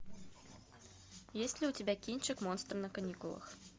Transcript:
есть ли у тебя кинчик монстры на каникулах